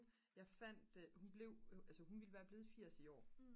jeg fandt hun blev jo altså hun ville være blevet 80 i år